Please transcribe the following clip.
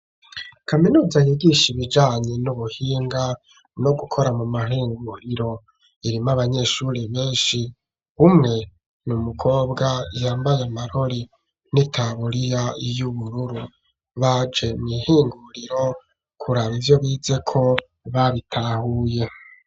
Kaminuza yigisha ibijanye n'ubuhinga ,no gukora mu mahinguriro, irimwo abanyeshuri benshi ,umwe ni umukobwa yambaye amarori n'itaburiya y'ubururu, baje mw' ihinguriro kuraba ivyo bize ko babitahuye.